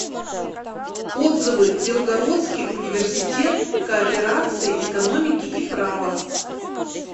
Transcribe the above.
отзывы белгородский университет кооперации экономики и права